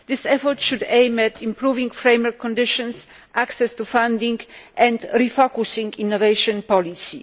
This effort should aim to improve framework conditions and access to funding and to refocus innovation policy.